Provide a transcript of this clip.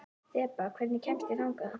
Þeba, hvernig kemst ég þangað?